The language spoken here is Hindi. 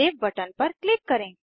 सेव बटन पर क्लिक करें